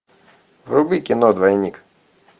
вруби кино двойник